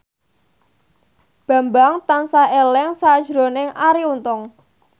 Bambang tansah eling sakjroning Arie Untung